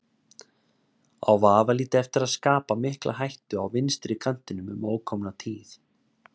Á vafalítið eftir að skapa mikla hættu á vinstri kantinum um ókomna tíð.